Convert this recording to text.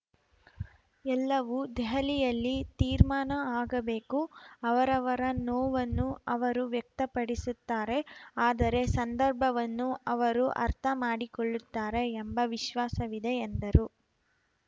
ಎಲ್ಲವೂ ದೆಹಲಿಯಲ್ಲಿ ತೀರ್ಮಾನ ಆಗಬೇಕು ಅವರವರ ನೋವನ್ನು ಅವರು ವ್ಯಕ್ತಪಡಿಸುತ್ತಾರೆ ಆದರೆ ಸಂದರ್ಭವನ್ನು ಅವರು ಅರ್ಥ ಮಾಡಿಕೊಳ್ಳುತ್ತಾರೆ ಎಂಬ ವಿಶ್ವಾಸವಿದೆ ಎಂದರು